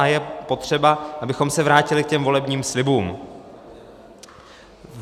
A je potřeba, abychom se vrátili k těm volebním slibům.